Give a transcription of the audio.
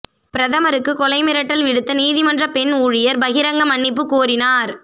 பிரதமருக்கு கொலை மிரட்டல் விடுத்த நீதிமன்ற பெண் ஊழியர் பகிரங்க மன்னிப்பு கோரினார்